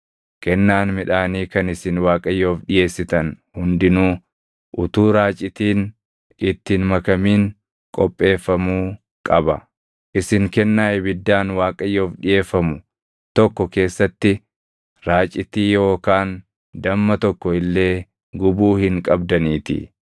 “ ‘Kennaan midhaanii kan isin Waaqayyoof dhiʼeessitan hundinuu utuu raacitiin itti hin makamin qopheeffamuu qaba; isin kennaa ibiddaan Waaqayyoof dhiʼeeffamu tokko keessatti raacitii yookaan damma tokko illee gubuu hin qabdaniitii.